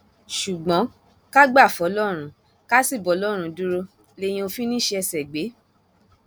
ṣùgbọn ká gbà fọlọrun ká sì bọlọrun dúró léèyàn ò fi ní í sí ẹsẹ gbé